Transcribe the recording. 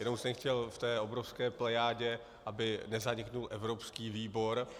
Jenom jsem chtěl v té obrovské plejádě, aby nezanikl evropský výbor.